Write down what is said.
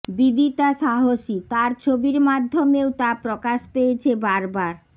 বিদিতা সাহসী তাঁর ছবির মাধ্যমেও তা প্রকাশ পেয়েছে বারবার